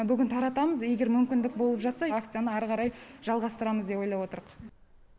бүгін таратамыз егер мүмкіндік болып жатса акцияны ары қарай жалғастырамыз деп ойлап отырқ